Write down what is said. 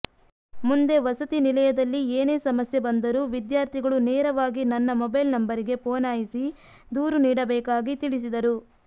ಮುಂದೆ ವಸತಿ ನಿಲಯದಲ್ಲಿ ಎನೇ ಸಮಸ್ಯೆ ಬಂದರೂ ವಿದ್ಯಾರ್ಥಿಗಳು ನೇರವಾಗಿ ನನ್ನ ಮೊಬೈಲ ನಂಬರಿಗೆ ಪೋನಾಯಸಿ ದೂರು ನೀಡಬೇಕಾಗಿ ತಿಳಸಿದರು